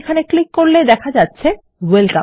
আমি এখানে ক্লিক করলে দেখা যাবে Welcome